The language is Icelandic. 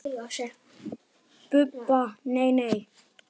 Budda: Nei, nei.